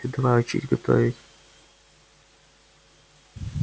ты давай учись готовить